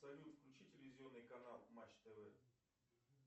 салют включи телевизионный канал матч тв